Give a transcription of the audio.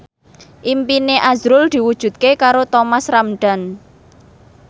impine azrul diwujudke karo Thomas Ramdhan